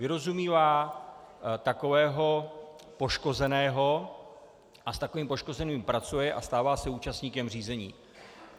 Vyrozumívá takového poškozeného a s takovým poškozeným pracuje a stává se účastníkem řízení.